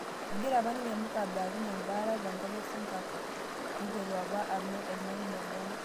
Egira apa ninye mukabe atum embaata te nkop e sinkapo piiteru apa ola le omg'uan